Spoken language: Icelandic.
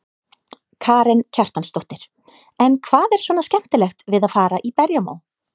Karen Kjartansdóttir: En hvað er svona skemmtilegt við að fara í berjamó?